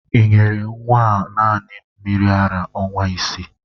Ị nyere nnwa a naanị mmiri ara ọnwa isii!?